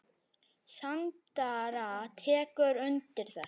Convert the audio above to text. Sandra tekur undir þetta.